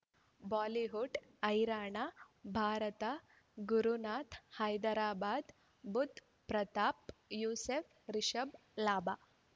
Bollywood ಹೈರಾಣ ಭಾರತ ಗುರುನಾಥ ಹೈದರಾಬಾದ್ ಬುಧ್ ಪ್ರತಾಪ್ ಯೂಸುಫ್ ರಿಷಬ್ ಲಾಭ